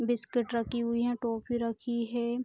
Biscuit रखी हुई है टॉफी रखी है।